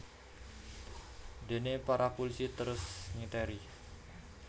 Déné para pulisi terus ngiteri